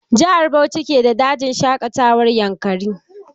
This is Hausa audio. Jihar Bauchi ke da dajin shaƙatawar yankari.